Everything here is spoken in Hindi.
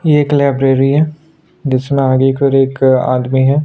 एक लाइब्रेरी है जिसमें आगे कर एक आदमी है।